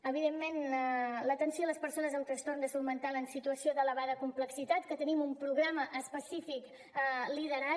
evidentment l’atenció a les persones amb trastorn de salut mental en situació d’elevada complexitat que tenim un programa específic liderat